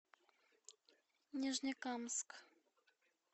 нижнекамск